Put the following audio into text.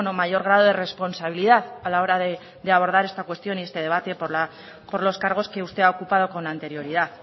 mayor grado de responsabilidad a la hora de abordar esta cuestión y este debate por los cargos que usted ha ocupado con anterioridad